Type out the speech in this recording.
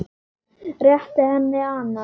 Réttir henni annað.